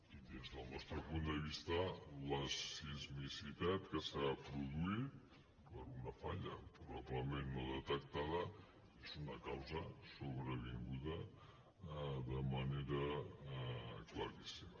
i des del nostre punt de vista la sismicitat que s’ha produït per una falla probablement no detectada és una causa sobrevinguda de manera claríssima